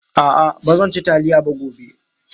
A'a ba zan ci taliya ba gobe.